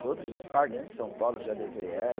Todos os parques de São Paulo eu já levei ela.